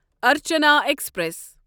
Archana express